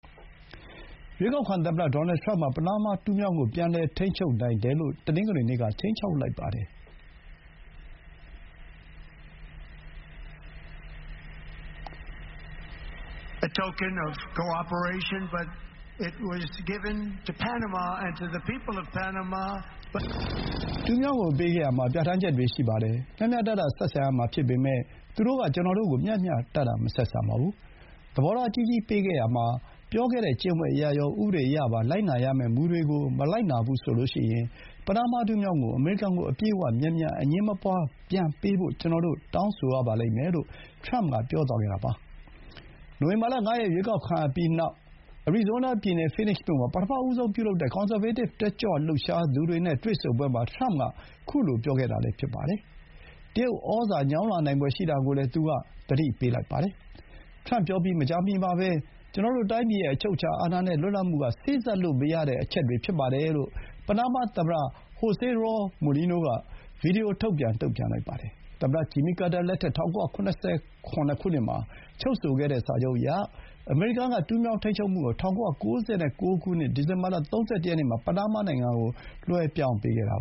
ရွေးကောက်ခံ သမ္မတ ဒေါ်နယ်ထရမ့်က ပနားမား တူးမြောင်းကို ပြန်လည် ထိန်းချုပ်နိုင်တယ်လို့ တနင်္ဂနွေနေ့က ခြိမ်းခြောက်လိုက်ပါတယ်။ “တူးမြောင်းကို ပေးခဲ့ရာမှာ ပြဋ္ဌာန်းချက်တွေ ရှိပါတယ်။ မျှမျှတတ ဆက်ဆံရမှာ ဖြစ်ပေမဲ့၊ သူတို့က ကျွန်တော်တို့ကို မျှမျှတတ မဆက်ဆံပါဘူး။ သဘောထား ကြီးကြီး ပေးခဲ့ရာမှာ ပြောခဲ့တဲ့ ကျင့်ဝတ်အရရော၊ ဥပဒေအရပါ လိုက်နာရမယ့် မူတွေကို မလိုက်နာဘူးဆိုရင်၊ ပနားမား တူးမြောင်းကို အမေရိကန်ကို အပြည့်အဝ၊ မြန်မြန်၊ အငြင်းမပွါး ပြန်ပေးဖို့ ကျွန်တော်တို့ တောင်းဆိုရပါလိမ့်မယ်” လို့ ထရမ့်က ပြောသွားခဲ့တာပါ။ နိုဝင်ဘာ ၅ ရက် ရွေးကောက်ခံရပြီးနောက် အရီဇိုးနား ပြည်နယ် Phoenix မြို့ မှာ ပထမဆုံး ပြုလုပ်တဲ့ ကွန်ဆာဗေးတစ် တက်ကြွလှုပ်ရှားသူတွေ နဲ့ တွေ့ဆုံပွဲမှာ ထရမ့်က အခုလို ပြောလိုက်တာလည်း ဖြစ်ပါတယ်။ တရုတ်ဩဇာ ညောင်းလာနိုင်ဖွယ် ရှိတာကိုလည်း သူက သတိ ပေးလိုက်ပါတယ်။ ထရမ့်ပြောပြီး မကြာမီမှာပဲ ကျွန်တော်တို့ တိုင်းပြည်ရဲ့ အချုပ်အခြာအာဏာနဲ့ လွတ်လပ်မှုက စေ့စပ်လို့ မရတဲ့ အချက်တွေ ဖြစ်ပါတယ် လို့ ပနားမား သမ္မတ José Raúl Mulino က ဗွီဒီယို ထုတ်ပြန် တုံ့ပြန်လိုက်ပါတယ်။ သမ္မတ ဂျင်မီကာတာ လက်ထက် ၁၉၇၇ ခုနှစ်မှာ ချုပ်ဆိုခဲ့တဲ့ စာချုပ်အရ၊ အမေရိကန် က တူးမြောင်း ထိန်းချုပ်မှုကို ၁၉၉၉ ဒီဇင်ဘာ ၃၁ ရက်နေ့မှာ ပနားမား နိုင်ငံကို လွှဲပြောင်းပေးခဲ့တာ